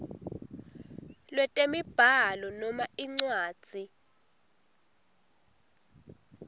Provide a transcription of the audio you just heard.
lwetemibhalo noma incwadzi